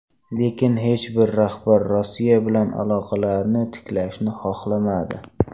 Lekin hech bir rahbar Rossiya bilan aloqalarni tiklashni xohlamadi.